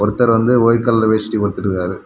ஒருத்தர் வந்து white colour வேஷ்டி உடுத்துட்ருக்காரு.